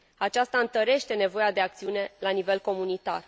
Aceasta întărește nevoia de acțiune la nivel comunitar.